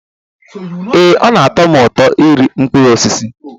Ee, ọ na-atọ m ụtọ iri mkpụrụ osisi